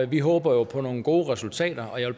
vi håber jo på nogle gode resultater jeg